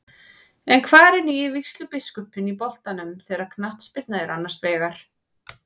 En hvar er nýi vígslubiskupinn í boltanum þegar knattspyrna er annars vegar?